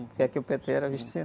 Porque aqui o pê-tê era visto assim.